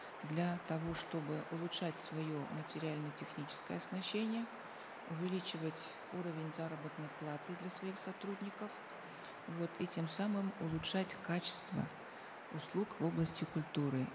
для того чтобы улучшать свое материально техническое оснащение увеличивать уровень заработной платы для своих сотрудников вот и тем самым улучшать качество услуг в области культуры